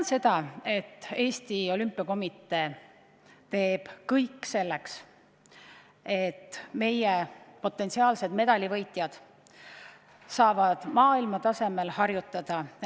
Ma tean, et Eesti Olümpiakomitee teeb kõik selleks, et meie potentsiaalsed medalivõitjad saavad maailmatasemel harjutada.